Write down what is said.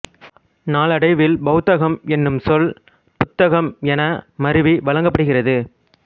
நாளடைவில் பொத்தகம் என்னும் சொல் புத்தகம் என மருவி வழங்கப்படுகிறது